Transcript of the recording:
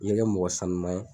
I ye kɛ mɔgɔ sanuma ye.